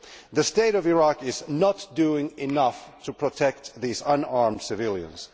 The state of Iraq is not doing enough to protect these unarmed civilians.